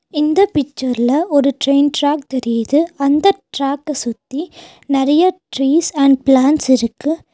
இந்த பிச்சர்ல ஒரு டிரெயின் ட்ராக் தெரியுது அந்த ட்ராக்க சுத்தி நறைய ட்ரீஸ் அண்ட் ப்ளாண்ட்ஸ் இருக்கு.